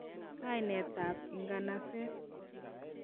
kainet ab inganaset.